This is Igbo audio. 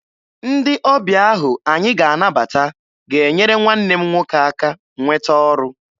Ndị ọbịa ahụ anyị ga-anabata ga-enyere nwanne m nwoke aka nweta ọrụ.